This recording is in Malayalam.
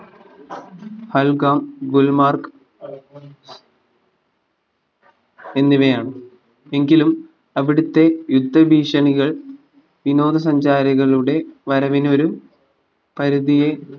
ഹൽഗാം ഗുൽമാർക്ക് എന്നിവയാണ് എങ്കിലും അവിടുത്തെ യുദ്ധഭീഷണികൾ വിനോദസഞ്ചാരികളുടെ വരവിന് ഒരു പരിധിയെ